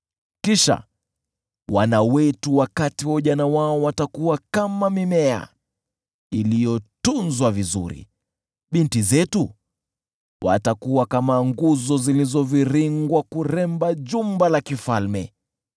Kisha wana wetu wakati wa ujana wao watakuwa kama mimea iliyotunzwa vizuri, binti zetu watakuwa kama nguzo zilizoviringwa kurembesha jumba la kifalme.